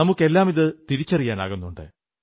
നമുക്കെല്ലാമിത് തിരിച്ചറിയാനാകുന്നുണ്ട്